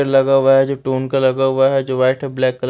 लगा हुआ है जो टोन कलर का हुआ है जो वाइट और ब्लैक कल--